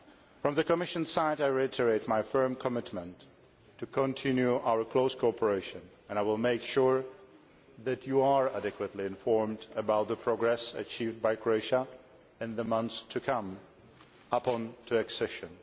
From the Commission's side, I reiterate my firm commitment to continue our close cooperation and I will make sure that you are adequately informed about the progress achieved by Croatia in the months to come, up to accession.